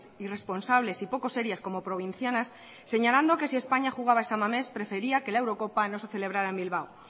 irresponsables y poco serias como provincianas señalando que si españa jugaba en san mames prefería que la eurocopa no se celebrara en bilbao